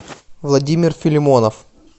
владимир филимонов